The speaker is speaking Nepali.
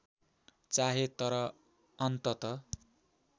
चाहे तर अन्तत